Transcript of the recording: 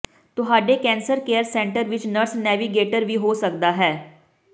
ਤੁਹਾਡੇ cancer care centre ਵਿੱਚ nurse navigator ਵੀ ਹੋ ਸਕਦਾ ਹੈ